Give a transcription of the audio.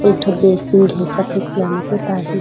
एक ठो bed sheet हे सफेद कलर में पोताय हे।